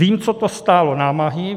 Vím, co to stálo námahy.